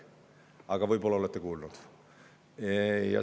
Aga võib-olla olete kuulnud.